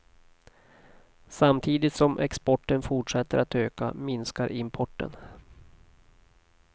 Samtidigt som exporten fortsätter att öka, minskar importen.